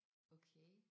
Okay